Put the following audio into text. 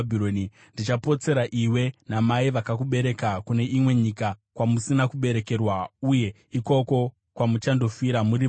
Ndichapotsera iwe namai vakakubereka kune imwe nyika kwamusina kuberekerwa, uye ikoko kwamuchandofira muri vaviri.